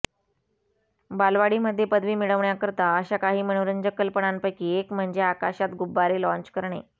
बालवाडीमध्ये पदवी मिळवण्याकरता अशा काही मनोरंजक कल्पनांपैकी एक म्हणजे आकाशात गुब्बारे लाँच करणे